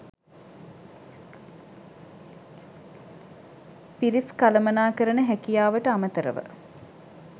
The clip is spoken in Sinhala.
පිරිස් කළමනාකරණ හැකියාවට අමතරව